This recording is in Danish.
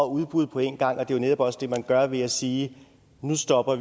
udbud på én gang og det er jo netop også det man gør ved at sige nu stopper